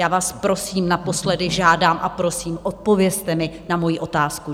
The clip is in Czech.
Já vás prosím, naposledy žádám a prosím, odpovězte mi na moji otázku.